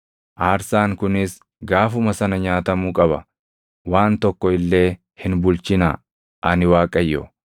Aarsaan kunis gaafuma sana nyaatamuu qaba; waan tokko illee hin bulchinaa. Ani Waaqayyo.